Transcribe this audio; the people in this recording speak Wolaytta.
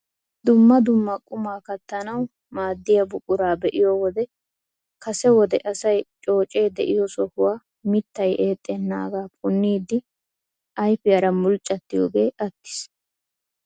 Dumma dumma qumaa kattanawu maddiyaa buquraa be'iyoo wode kase wode asay coocee de'iyo sohuwa miittay eexxenaagaa punniidi ayfiyaara mulccattiyoogee attiis!